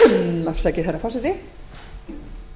mikilli orku eytt í